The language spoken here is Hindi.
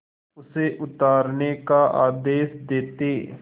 उसे उतारने का आदेश देते